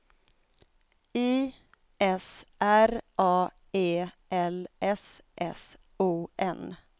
I S R A E L S S O N